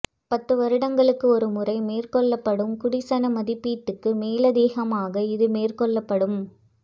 பத்து வருடங்களுக்கு ஒரு முறை மேற்கொள்ளப்படும் குடிசன மதிப்பீட்டுக்கு மேலதிகமாக இது மேற்கொள்ளப்படும்